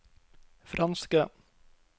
franske